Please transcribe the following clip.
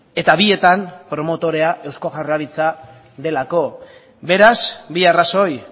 eta bietan promotorea eusko jaurlaritza delako beraz bi arrazoi